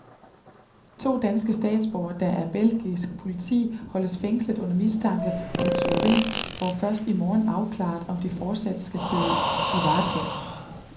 To danske statsborgere, der af belgisk politi holdes fængslet under mistanke om tyveri, får først i morgen afklaret, om de fortsat skal sidde i varetægt.